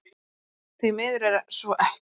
Því miður er svo ekki